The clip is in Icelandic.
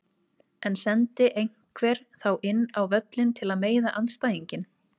En sendi einhver þá inn á völlinn til að meiða andstæðinginn?